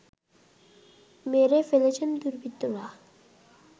মেরে ফেলেছে দুর্বৃত্তরা